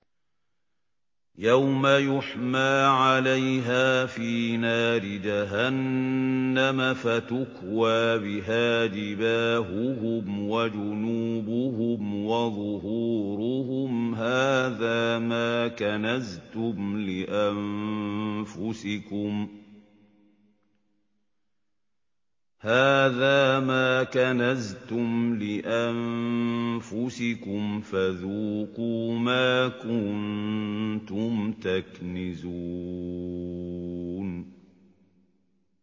يَوْمَ يُحْمَىٰ عَلَيْهَا فِي نَارِ جَهَنَّمَ فَتُكْوَىٰ بِهَا جِبَاهُهُمْ وَجُنُوبُهُمْ وَظُهُورُهُمْ ۖ هَٰذَا مَا كَنَزْتُمْ لِأَنفُسِكُمْ فَذُوقُوا مَا كُنتُمْ تَكْنِزُونَ